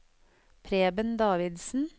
Preben Davidsen